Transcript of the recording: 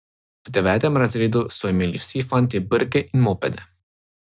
V devetem razredu so imeli vsi fantje brke in mopede.